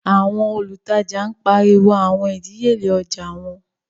Awọn olùtajà n pariwo awọn idiyele ojạ wọn